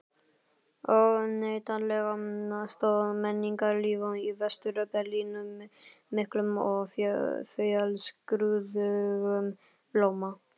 Óneitanlega stóð menningarlíf í Vestur-Berlín með miklum og fjölskrúðugum blóma.